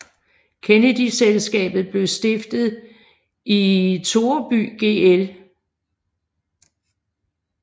Kennedy Selskabet blev stiftet i Toreby gl